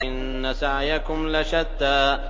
إِنَّ سَعْيَكُمْ لَشَتَّىٰ